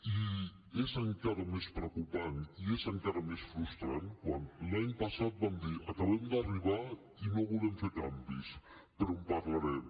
i és encara més preocupant i és encara més frustrant quan l’any passat van dir acabem d’arribar i no volem fer canvis però en parlarem